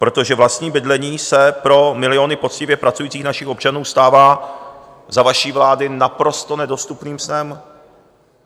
Protože vlastní bydlení se pro miliony poctivě pracujících našich občanů stává za vaší vlády naprosto nedostupným snem.